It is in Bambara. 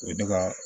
U ye ne ka